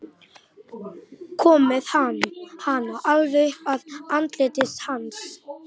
Kom með hana alveg upp að andliti hans.